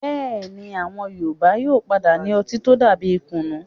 Bẹ́ẹ̀ni, àwọn Yorùbá yóò padà ní ọtí tó dàbí kùnnú.